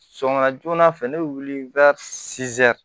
Sɔgɔma joona fɛ ne bɛ wuli